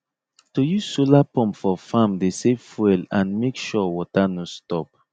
to use solar pump for farm dey save fuel and make sure water no stop